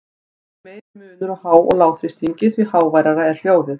Því meiri munur á há- og lágþrýstingi, því háværara er hljóðið.